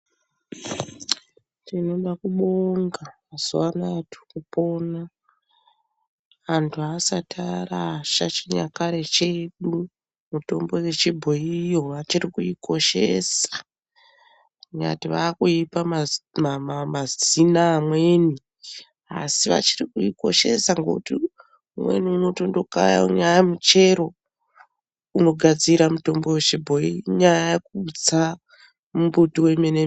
Tinoda kubonga mazuwa anaya antu asati arasha chinyakare chedu mitombo yechibhoyi vari kuikoshesa kunyati vakuipa mazina amweni ASI vachiri kuikoshesa nekuti kumweni vanondokaya muchero inogadzira mitombo yechibhoyi inyaya yekutsa mumbiti wemene mene.